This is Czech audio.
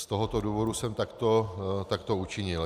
Z tohoto důvodu jsem takto učinil.